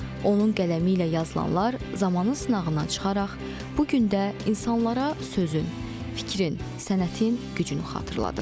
Onun qələmi ilə yazılanlar zamanın sınağından çıxaraq, bu gün də insanlara sözün, fikrin, sənətin gücünü xatırladır.